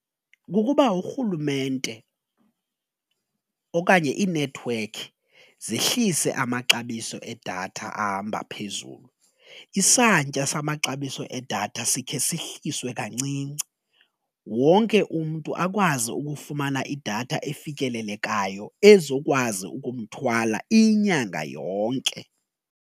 Kukuba urhulumente okanye iinethiwekhi zehlise amaxabiso edatha ahamba phezulu, isantya samaxabiso edatha sikhe sihliswe kancinci wonke umntu akwazi ukufumana idatha efikelelekayo ezokwazi ukumthwala inyanga yonke.